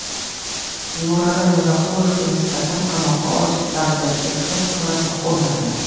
Nurali Rizaqulovga nisbatan qamoqqa olish tarzidagi ehtiyot chorasi qo‘llandi.